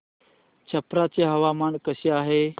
छप्रा चे हवामान कसे आहे